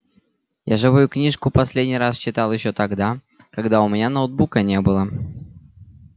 я живую книжку последний раз читал ещё тогда когда у меня ноутбука не было